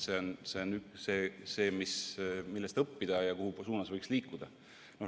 See on see, millest õppida ja millises suunas võiks liikuda.